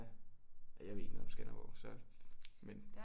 Ja jeg ved ikke noget om Skanderborg så men